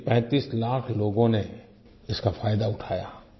लेकिन 35 लाख़ लोगों ने इसका फायदा उठाया